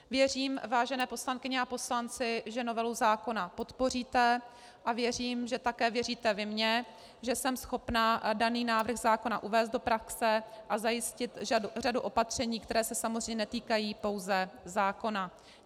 Věřím, vážené poslankyně a poslanci, že novelu zákona podpoříte, a věřím, že také věříte vy mně, že jsme schopná daný návrh zákona uvést do praxe a zajistit řadu opatření, která se samozřejmě netýkají pouze zákona.